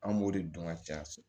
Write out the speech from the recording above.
An b'o de dɔn ka caya